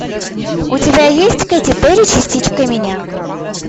у тебя есть кэти перри частичка меня